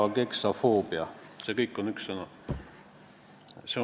Ka meie mõistes kolmandates riikides on täpselt samasugused seadused, tuleb osata riigikeelt.